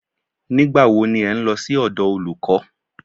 Nígbà wo ni ẹ̀ ń lọ sí ọ̀dọ̀ olùkọ́?